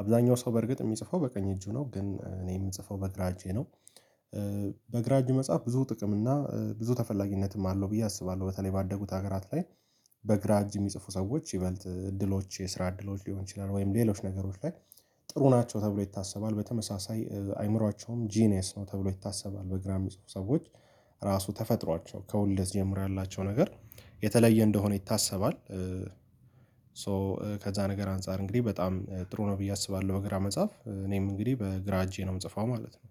አብዛኛው ሰው በርግጥ የሚጽፈው በቀኝ እጁ ነው ግን እኔ የምጽፈው በግራ እጄ ነው። በግራ እጅ መጽሐፍ ብዙ ጥቅም እና ብዙ ተፈላጊነትም አለው ብዬ አስባለሁ በተለይ ባደጉት ሀገራት ላይ። በግራ እጅ የሚጽፉ ሰዎች ይበልጥ ድሎች የስራ እድሎች ሊሆን ይችላል ወይም ሌሎች ነገሮች ላይ ጥሩ ናቸው ተብሎ ይታሰባል። በተመሳሳይ አእምሮአቸውም ጂኒየስ ነው ተብሎ ይታሰባል። በግራ የሚጽፉ ሰዎች ራሱ ተፈጥሯቸው ከወልት ጀምሮ ያላቸው ነገር የተለየ እንደሆነ ይታሰባል። ሶ ከዛ ነገር አንፃር እንግዲህ በጣም ጥሩ ነው ብዬ አስባለሁ በግራ መጻፍ እኔም እንግዲህ በግራ እጄ ነው የምጽፈው ማለት ነው።